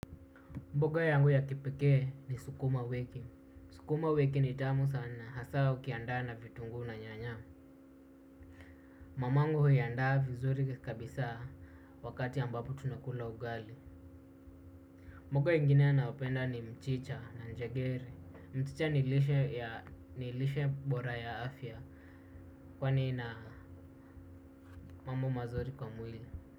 Mboga yangu ya kipekee ni sukuma wiki. Sukuma wiki ni tamu sana. Hasa ukiandaa na vitunguu na nyanya. Mamangu huiandaa vizuri kabisa wakati ambapo tunakula ugali. Mboga ingine nayopenda ni mchicha na njegere. Mchicha ni lishe bora ya afya kwani ina mambo mazuri kwa mwili.